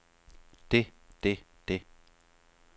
det det det